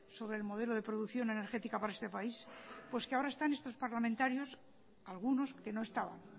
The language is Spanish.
sobre el modelo de producción energética para este país pues que ahora están estos parlamentarios algunos que no estaban